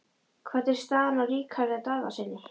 Hvernig er staðan á Ríkharði Daðasyni?